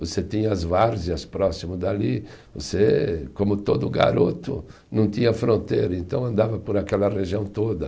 Você tinha as várzeas próximo dali, você, como todo garoto, não tinha fronteira, então andava por aquela região toda.